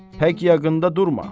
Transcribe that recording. Pək yaxında durma.